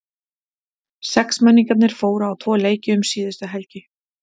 Sexmenningarnir fóru á tvo leiki um síðustu helgi.